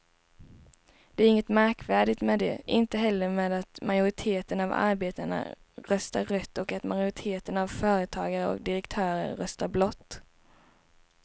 Det är inget märkvärdigt med det, inte heller med att majoriteten av arbetarna röstar rött och att majoriteten företagare och direktörer röstar blått.